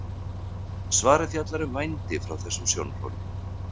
Svarið fjallar um vændi frá þessum sjónarhóli.